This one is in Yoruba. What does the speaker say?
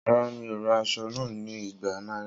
Rara, mi o ra aso naa ni igba naira.